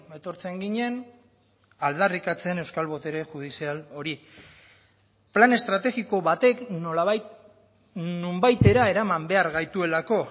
etortzen ginen aldarrikatzen euskal botere judizial hori plan estrategiko batek nolabait nonbaitera eraman behar gaituelako